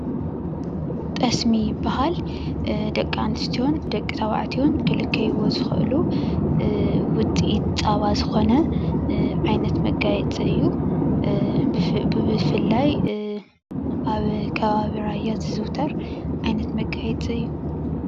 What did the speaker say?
ጠስሚ ይበሃል። ደቂ አነስትዮን ደቂ ተባዕተዮን ክልከይዎ ዝክእሉ ውፅኢት ፀባ ዝኮነ ዓይነት መጋየፂ እዩ፡፡ ብፍላይ አብ ከባቢ ራያ ዝዝውተር ዓይነት መጋየፂ እዩ፡፡